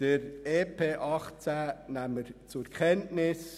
Den Bericht zum EP 2018 nehmen wir zur Kenntnis.